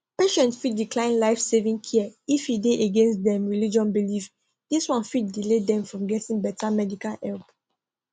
patients fit decline lifesaving care if e dey against dem religious belief dis one fit delay dem from getting better medical help